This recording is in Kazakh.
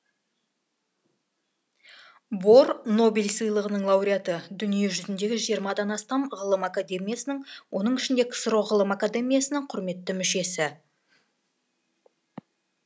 бор нобель сыйлығының лауреаты дүние жүзіндегі жиырмадан астам ғылым академиясының оның ішінде ксро ғылым академиясының құрметті мүшесі